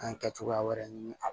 An ye kɛ cogoya wɛrɛ ɲini a